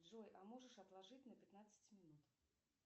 джой а можешь отложить на пятнадцать минут